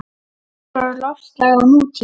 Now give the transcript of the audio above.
Gróður og loftslag á nútíma